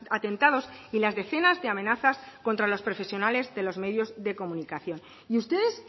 atentados y las decenas de amenazas contra los profesionales de los medios de comunicación y ustedes